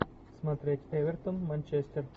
смотреть эвертон манчестер